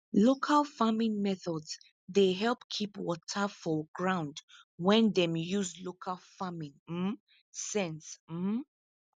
local farming methods dey help keep water for ground when dem use local farming um sense um